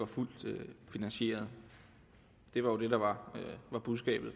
var fuldt finansieret det var jo det der var budskabet